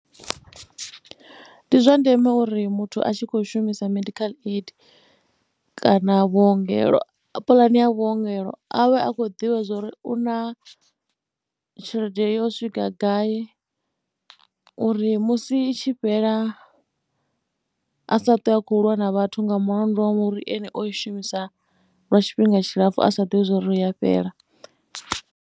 Ndi zwa ndeme uri muthu a tshi khou shumisa medical aid kana vhuongelo, puḽane ya vhuongelo a vhe a khou ḓivha zwo ri u na tshelede yo swika gai uri musi i tshi fhela a sa ṱwe a tshi khou lwa na vhathu nga mulandu wa uri ene o i shumisa lwa tshifhinga tshilapfhu a sa ḓivhi zwa uri i ya fhela.